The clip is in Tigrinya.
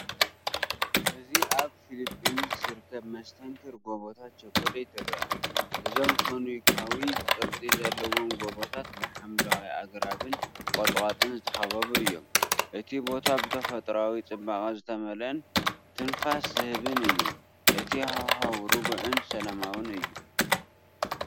እዚ ኣብ ፊሊፒንስ ዝርከብ መስተንክር ጎቦታት ቸኮሌት ይርአ። እዞም ኮኒካዊ ቅርጺ ዘለዎም ጎቦታት ብሓምለዋይ ኣግራብን ቁጥቋጥን ዝተኸበቡ እዮም። እቲ ቦታ ብተፈጥሮኣዊ ጽባቐ ዝተመልአን ትንፋስ ዝህብን እዩ። እቲ ሃዋህው ርጉእን ሰላማውን እዩ።